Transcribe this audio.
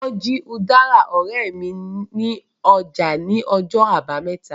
Wọ́n jí udara ọ̀rẹ́ mi ní ọjà ní ọjọ́ àbámẹ́ta